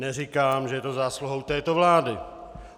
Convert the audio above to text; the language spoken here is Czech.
Neříkám, že je to zásluhou této vlády.